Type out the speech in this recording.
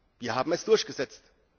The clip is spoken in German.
Wir haben es durchgesetzt.